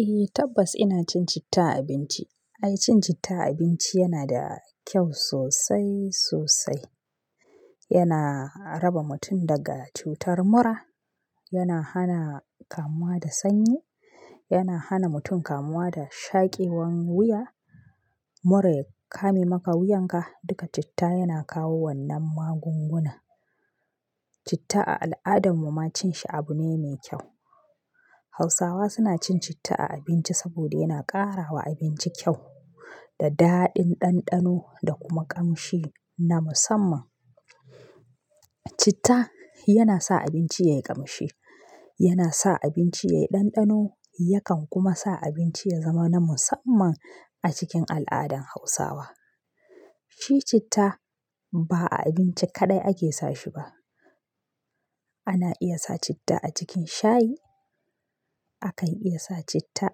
Eh tabbas ina cin citta a abinci. Ai cin citta a abinci yana da kyau sosai sosai. Yana raba mutum daga cutar mura, yana hana kamuwa da sanyi, yana hana mutum kamuwa da shaƙewan wuya. Mura ya kami maka wuyanka, duka citta yana kawo wannan magunguna. Citta a al'adarmu ma cin shi abu ne mai kyau. Hausawa suna cin citta a abinci saboda yana ƙara wa abinci kyau da daɗin ɗanɗano da kuma ƙamshi na musamman. Citta yana sa abinci yayi ƙamshi, yana sa abinci yayi ɗanɗano, yakan kuma sa abinci ya zama na musamman a cikin al'adan Hausawa. Shi citta ba a abinci kaɗai ake sa shi ba. Ana iya sa citta a cikin shayi, akan iya sa citta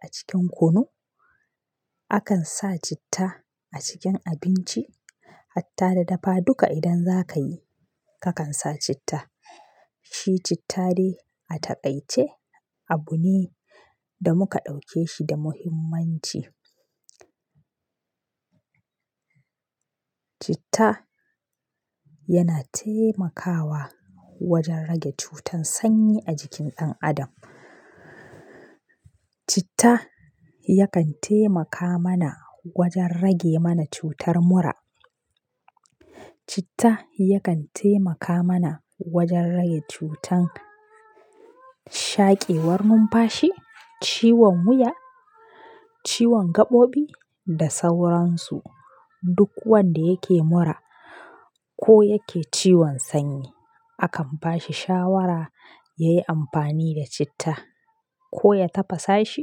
a cikin kunu, akan sa citta a cikin abinci, hatta da dafaduka idan za ka yi, ka kan sa citta. Shi citta dai a taƙaice abu ne da muka ɗauke shi da muhimmanci. Citta yana taimakawa wajen rage cutar sanyi a jikin ɗan adam. Citta yakan taimaka mana wajen rage mana cutar mura. Citta yakan taimaka mana wajen rage cutar shaƙewar numfashi, ciwon wuya, ciwon gaɓoɓi da sauransu. Duk wanda yake mura ko yake ciwon sanyi, akan ba shi shawara yayi amfani da citta ko ya tafasa shi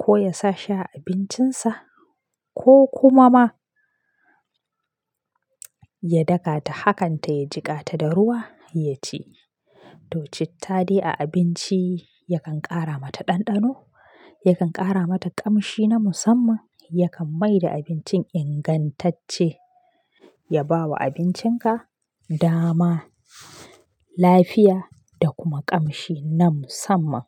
ko ya sa sha abincinsa ko kuma ma ya daka ta hakan ta ya jiƙa ta da ruwa ya ci. To citta dai a abinci yakan ƙara mata ɗanɗano, yakan ƙara mata ƙamshi na musamman, yakan mai da abincin ingantacce, ya bawa abincinka dama, lafiya da kuma ƙamshi na musamman.